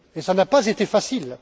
Et cela n'a pas été facile.